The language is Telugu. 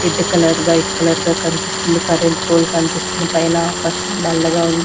రెడ్డు కలర్ వైట్ కలర్ గా కనిపిస్తుంది కరెంట్ పోల్ కన్పిస్తుంది పైన ఆకాశం నల్లగా ఉంది.